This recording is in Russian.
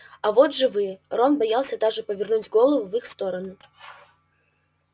а вот живые рон боялся даже повернуть голову в их сторону